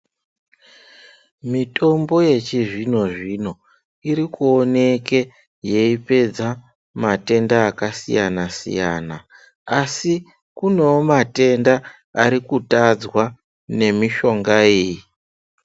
Mitombo yechizvinzvino irikuoneke yeipedza matenda akasiyana siyana asi kunewo matendenda arikutadzwa nemishonga iyi .